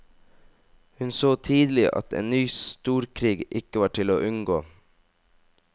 Hun så tidlig at en nye storkrig ikke var til å unngå.